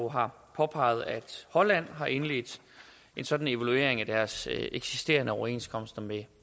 har påpeget at holland har indledt en sådan evaluering af deres eksisterende overenskomster med